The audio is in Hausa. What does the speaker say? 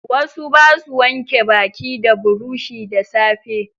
Wasu basu wanke baki da burushi da safe.